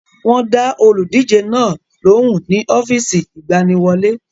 Wọ́n dá olùdíje náà lóhùn ní ọ́fíìsì ìgbaniwọlé.